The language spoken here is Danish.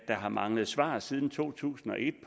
har manglet svar siden to tusind og et